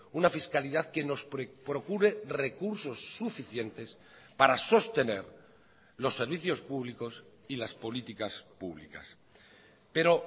una fiscalidad que nos procure recursos suficientes para sostener los servicios públicos y las políticas públicas pero